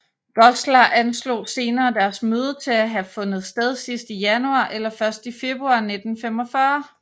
Goslar anslog senere deres møde til at have fundet sted i sidst i januar eller først i februar 1945